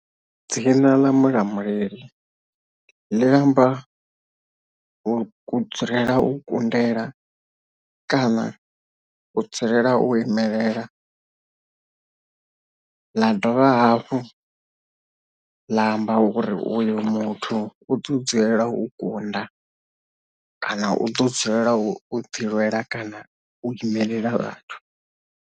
Dzina ḽa Mulamuleli ḽi amba u ku dzulela u kundela kana u dzulela u imelela ḽa dovha hafhu ḽa amba uri uyu muthu u tea u dzulela u kunda kana u ḓo dzulela u ḓi lwela kana u imelela vhathu.